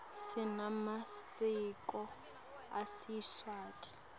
sinemasiko esiswati